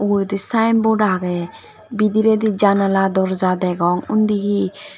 uguredi sinebot agey bidiredi janala dorja degong undi hi.